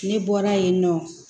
Ne bɔra yen nɔ